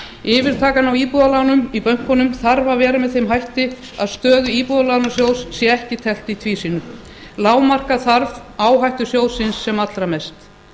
yfirtakan á íbúðalánum í bönkunum þarf að vera með þeim hætti að stöðu íbúðalánasjóð sé ekki teflt í tvísýnu lágmarka þarf áhættu sjóðsins sem allra mest